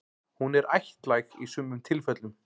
Hún er ættlæg í sumum tilfellum.